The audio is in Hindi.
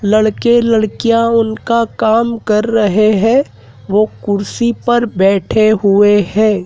लड़के लड़कियां उनका काम कर रहे हैं वो कुर्सी पर बैठे हुए हैं।